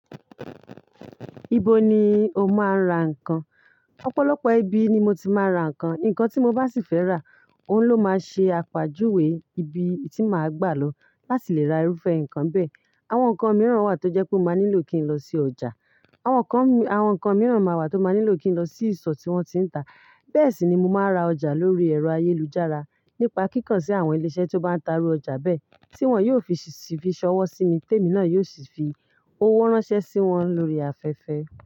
Ibo ni o máa ń ra nǹkan? Ọ̀pọ̀lọpọ̀ ibi ni mo ti máa ń ra nǹkan. Nǹkan tí mo bá sì fẹ́ rà, òun ló máa ṣe àpàájúwe ibi tí màá gbà lọ láti lè ra irúfẹ́ nǹkan bẹ́ẹ̀. Àwọn nǹkan mìíràn wà tó jẹ́ pé mo máa nílò kí n lọ sí ọjà. Àwọn nǹkan, àwọn nǹkan mìíràn máa wà tó máa nílò kín lọ sí ìsọ̀ tí wọ́n tiń ta. Bẹ́ẹ̀ sì ni mo máa ra ọjà lórí ẹ̀rọ ayélujára nípa kíkan sí àwọn ilé iṣẹ́ tí ó bá ń ta irú ọjà bẹ́ẹ̀ tí wọ́n yóò sì fi ṣọwọ́ sí mi, tèmi náà yóò sì fi owó ránṣẹ́ sí wọn lórí afẹ́fẹ́.